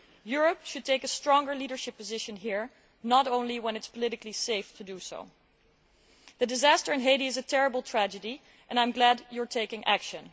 Europe should take a stronger leadership position here, not only when it is politically safe to do so. The disaster in Haiti is a terrible tragedy, and I am glad you are taking action.